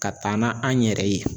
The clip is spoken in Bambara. Ka taa n'an yɛrɛ ye.